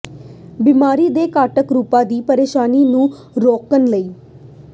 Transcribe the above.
ਬਿਮਾਰੀ ਦੇ ਘਾਤਕ ਰੂਪਾਂ ਦੀ ਪਰੇਸ਼ਾਨੀ ਨੂੰ ਰੋਕਣ ਲਈ